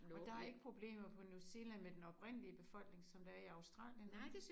Og der er ikke problemer på New Zealand med den oprindelige befolkning som der er i Australien vel?